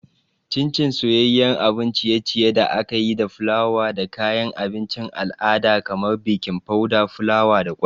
Chin Chin soyayyen abun ciye-ciye da aka yi da fulawa da kayan abincin al'ada kamar baking powder, fulawa, da kwai.